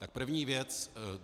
Tak první věc.